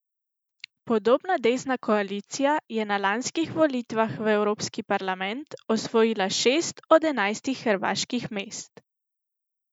Podobna desna koalicija je na lanskih volitvah v Evropski parlament osvojila šest od enajstih hrvaških mest.